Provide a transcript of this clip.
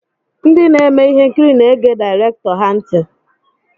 Ndị na-eme ihe nkiri na-ege direktọr ha ntị.